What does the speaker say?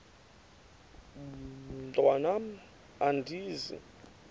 mntwan am andizi